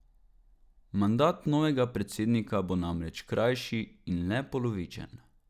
Mandat novega predsednika bo namreč krajši in le polovičen.